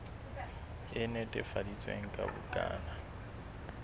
e netefaditsweng ya bukana ya